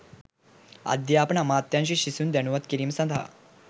අධ්‍යාපන අමාත්‍යාංශය සිසුන් දැනුම්වත් කිරීම සඳහා